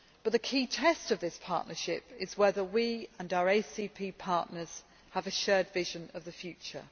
The key test of this partnership is whether we and our ACP partners have a shared vision of the future.